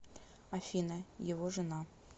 афина его жена